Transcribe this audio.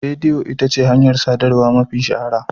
Rediyo ita ce hanyar sadarwa mafi shahara.